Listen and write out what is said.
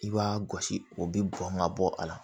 I b'a gosi o bi bɔn ka bɔ a la